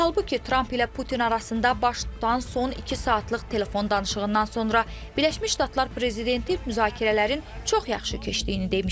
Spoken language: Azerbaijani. Halbuki Tramp ilə Putin arasında baş tutan son iki saatlıq telefon danışığından sonra Birləşmiş Ştatlar prezidenti müzakirələrin çox yaxşı keçdiyini demişdi.